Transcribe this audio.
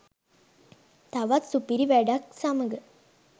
තවත් සුපිරි වැඩක් සමග